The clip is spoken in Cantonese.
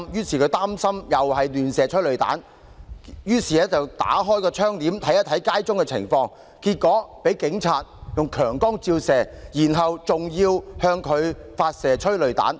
他擔心再有催淚彈橫飛，拉開窗簾看看街上情況，結果警察向他照射強光，之後更向他發射催淚彈。